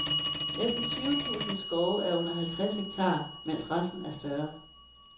Næsten tyve tusind skove er under halvtreds hektar, mens resten er større.